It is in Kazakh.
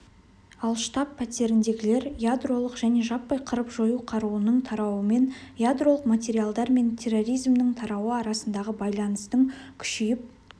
ал штаб-пәтеріндегілер ядролық және жаппай қырып-жою қаруының тарауымен ядролық материалдар мен терроризмнің тарауы арасындағы байланыстың күшейіп